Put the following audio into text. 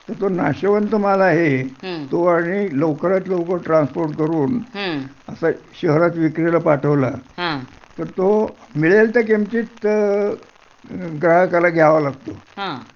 तर तो नाशवंत माल आहे तो आणि लवकरात लवकर ट्रान्सपोर्ट करून असा शहरात विक्रीला पाठवला तर तो मिळेल त्या किमतीत ग्राहकाला घ्यावा लागतो